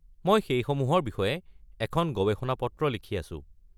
মই সেইসমূহৰ বিষয়ে এখন গৱেষণা পত্ৰ লিখি আছোঁ।